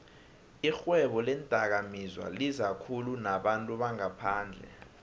ixhwebo leendakamizwalizakhulu nabantu bangaphandle